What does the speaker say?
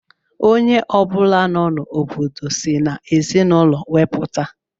Onye ọ bụla nọ n'obodo si n'ezinụlọ we puta.